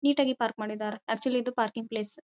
ನೀಟಾಗಿ ಪಾರ್ಕ್ ಮಾಡಿದ್ದಾರೆ ಅಕ್ಚುಲಿ ಇದು ಪಾರ್ಕಿಂಗ್ ಪ್ಲೇಸ್ .